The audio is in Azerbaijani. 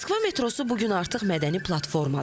Moskva metrosu bu gün artıq mədəni platformadır.